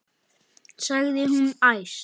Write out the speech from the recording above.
sagði hún æst.